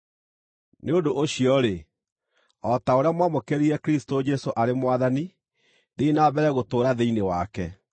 Nĩ ũndũ ũcio-rĩ, o ta ũrĩa mwamũkĩrire Kristũ Jesũ arĩ Mwathani, thiĩi na mbere gũtũũra thĩinĩ wake,